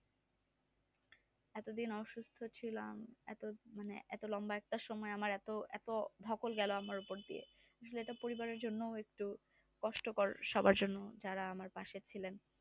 এতদিন অসুস্থ ছিলাম এত লম্বা একটা সময় আমার এত ধকল গেল আমার উপর দিয়ে এটা পরিবারের জন্য বেশ কষ্টকর সবার জন্য যারা আমার পাশে ছিলেন